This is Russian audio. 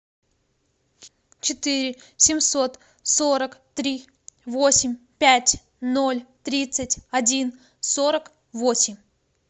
четыре семьсот сорок три восемь пять ноль тридцать один сорок восемь